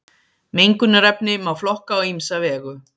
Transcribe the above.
mengunarefni má flokka á ýmsa vegu